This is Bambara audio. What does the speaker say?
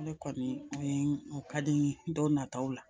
Ne kɔni ka di n ye dɔw nataw la